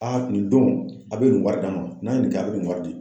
nin don a be nin wari d'a ma, n'a ye nin kɛ a be nin wari di.